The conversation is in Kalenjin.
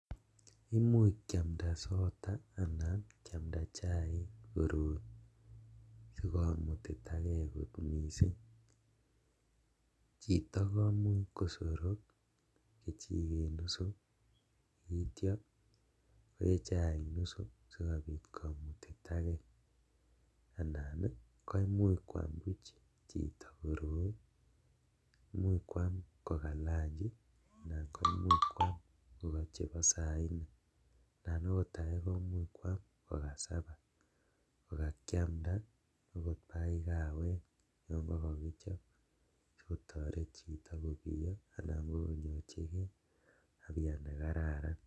Kimuuch kiamnda sotaa anan kiamnda chaik koroi sikomutitakee kot mising, chito komuuch kosorok kechiket nusuu akityo koyee chaik nusuu sikobiit komutitakee, anan koimuch kwaam buch chito koroi, imuuch kwaam ko kaa lanchi anan komuch kwaam koik chebo saa nne anan ko akot akee komuuch kwaam ko kaa sabaa kokakiamda akot bakai kawek chekokichob sikotoret chito kobiyoo anan ko konyorchikee afya nekararan.